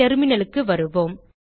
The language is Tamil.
terminalக்கு வருவோம்